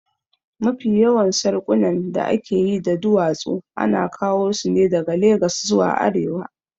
Mafi yawan sarƙunan da aka yi da duwatsu ana kawo su ne daga Legas zuwa arewa